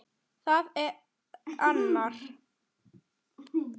Það er arnar.